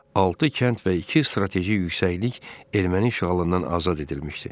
Altı kənd və iki strateji yüksəklik erməni işğalından azad edilmişdi.